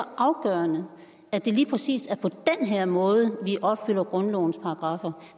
afgørende at det lige præcis er på den her måde vi opfylder grundlovens paragraffer